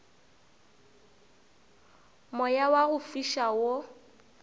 moya wa go fiša wo